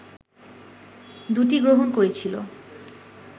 দুটিই গ্রহণ করেছিল